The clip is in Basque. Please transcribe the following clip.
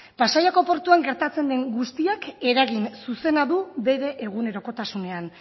pasaiako portuan gertatzen den guztiak eragin zuzena du bere egunerokotasunean